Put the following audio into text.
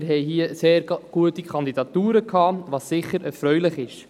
Wir hatten hier sehr gute Kandidaturen, was sicher erfreulich ist.